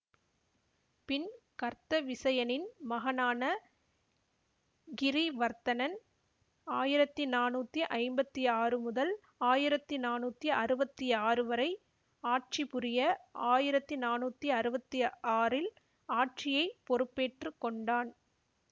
பின் கர்த்தவிசயனின் மகனான கிரீவர்த்தனன் ஆயிரத்தி நானூத்தி ஐம்பத்தி ஆறு முதல் ஆயிரத்தி நானூத்தி அறுவத்தி ஆறு வரை ஆட்சிபுரிய ஆயிரத்தி நானூத்தி அறுவத்தி ஆறில் ஆட்சியை பொறுப்பேற்று கொண்டான்